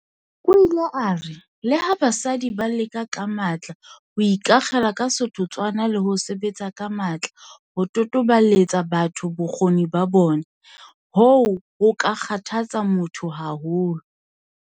O ile a re, "Leha basadi ba leka ka matla ho ikakgela ka setotswana le ho sebetsa ka matla ho totobaletsa batho bokgoni ba bona, hoo ho ka kgathatsa motho haholo."